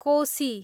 Koshi